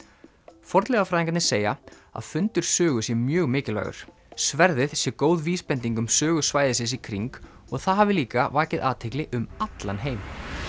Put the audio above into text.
fornleifafræðingarnir segja að fundur Sögu sé mjög mikilvægur sverðið sé góð vísbending um sögu svæðisins í kring og það hafi líka vakið athygli um allan heim